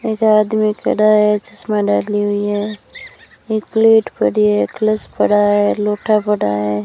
एक आदमी खड़ा है चश्मा डाली हुई है एक प्लेट पड़ी है ग्लास पड़ा है लोटा पड़ा है।